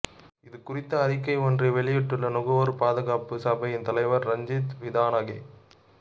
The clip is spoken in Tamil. இது குறித்து அறிக்கை ஒன்றை வெளியிட்டுள்ள நுகர்வோர் பாதுகாப்பு சபையின் தலைவர் ரஞ்சித் விதானகே